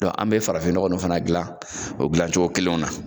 an bɛ farafin nɔgɔ fana dilan o dilancogo kelen na